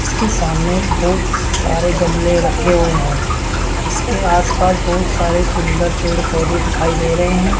इसके सामने बहोत सारे गमले रखे हुए है इसके आस पास बहुत सारे सुंदर पेड़ पौधे दिखाई दे रहे हैं।